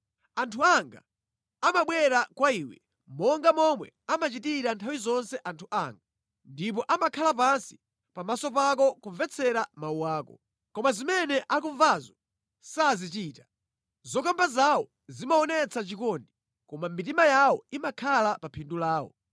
Anthu anga amabwera kwa iwe, monga momwe amachitira nthawi zonse anthu anga, ndipo amakhala pansi pamaso pako kumvetsera mawu ako. Koma zimene akumvazo sazichita. Zokamba zawo zimaonetsa chikondi, koma mitima yawo imakhala pa phindu lawo.